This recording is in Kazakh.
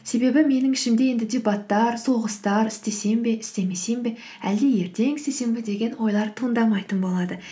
себебі менің ішімде енді дебаттар соғыстар істесем бе істемесем бе әлде ертең істесем бе деген ойлар туындамайтын болады